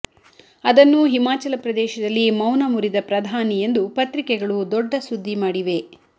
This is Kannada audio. ಅದನ್ನು ಹಿಮಾಚಲ ಪ್ರದೇಶದಲ್ಲಿ ಮೌನ ಮುರಿದ ಪ್ರಧಾನಿ ಎಂದು ಪತ್ರಿಕೆಗಳು ದೊಡ್ಡ ಸುದ್ದಿ ಮಾಡಿವೆ